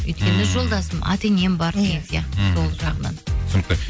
өйткені жолдасым ата енем бар деген сияқты сол жағынан түсінікті